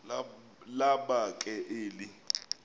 laba ke eli